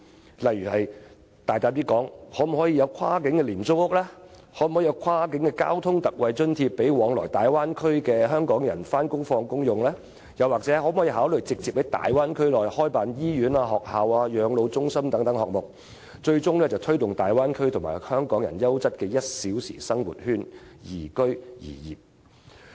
舉例說，我大膽建議政府考慮推出跨境廉租屋、為前往大灣區工作的香港人提供跨境交通特惠津貼，又或直接在大灣區內開辦醫院、學校、養老中心等設施，最終推動大灣區成為香港人優質的 "1 小時生活圈"，宜居宜業。